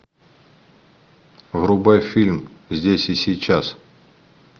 врубай фильм здесь и сейчас